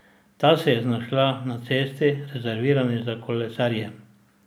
Ta se je znašla na cesti, rezervirani za kolesarje.